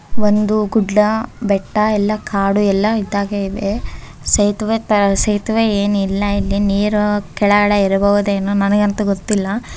ಒಂದು ಗುಡ್ಡ ಬೆಟ್ಟ ಎಲ್ಲ ಕಾಡು ಎಲ್ಲಾ ಇದ್ದಾಗೆ ಇದೆ ಸೇತುವೆ--ಸೇತುವೆ ಏನು ಇಲ್ಲ ಇಲ್ಲಿ ನೀರು ಕೆಳಗಡೆ ಇರ ಬಹುದೇನೋ ನನಗಂತೂ ಗೊತ್ತಿಲ್ಲ.